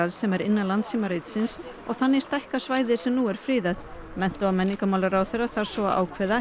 sem er innan og þannig stækka svæðið sem nú er friðað mennta og menningarmálaráðherra þarf svo að ákveða